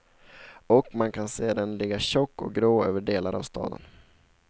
Och man kan se den ligga tjock och grå över delar av staden.